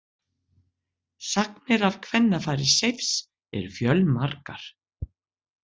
Sagnir af kvennafari Seifs eru fjölmargar.